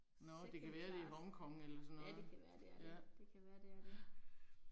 Nåh det kan være det i Hong Kong eller sådan noget. Ja. Ja